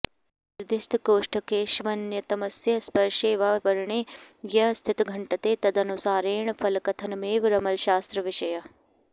निर्दिष्टकोष्ठकेष्वन्यतमस्य स्पर्शे वा वरणे या स्थितिघंटते तदनुसारेण फलकथनमेव रमलशास्त्रविषयः